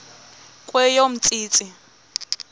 kweyomntsintsi